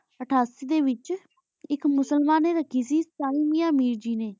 ਅਠਾਸੀ ਡੀ ਵੇਚ ਆਇਕ ਮੁਸਲਮਾਨ ਨੀ ਰਾਖੀ ਸੀ ਸਹੀ ਮਿਆਂ ਮੇਰ ਜੀ ਨੀ